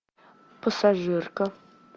пассажирка